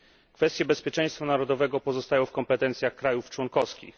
Kwestie bezpieczeństwa narodowego pozostają w kompetencjach krajów członkowskich.